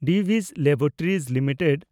Divi's Laboratories limited